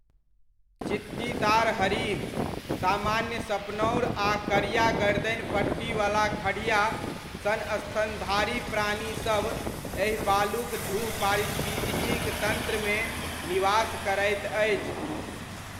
चित्तीदार हरिण, सामान्य सपनौर आ करिया गर्दनि पट्टीवला खढ़िआ सन स्तनधारी प्राणी सभ एहि बालुक ढूह पारिस्थितिक तन्त्रमे निवास करैत अछि।